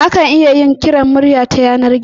Akan iya yin kiran murya ta yanar gizo